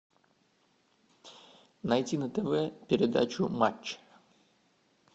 найти на тв передачу матч